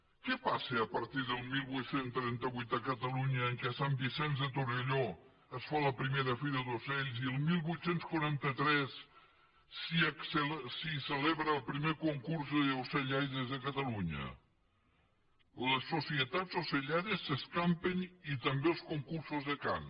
què passa a partir del divuit trenta vuit a catalunya en què a sant vicenç de torelló es fa la primera fira d’ocells i el divuit quaranta tres s’hi celebra el primer concurs d’ocellaires de catalunya les societats ocellaires s’escampen i també els concursos de cant